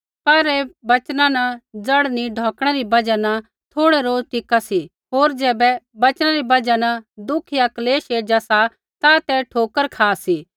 पर ऐ बचना न जड़ नी ढौकणै री बजहा न थोड़ै रोज टिका सी होर ज़ैबै वचना री बजहा दुःख या क्लेश एज़ा सा ता ते ठोकर खा सी